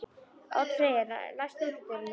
Oddfreyja, læstu útidyrunum.